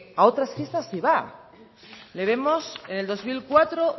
a otras fiestas sí va le vemos en el dos mil cuatro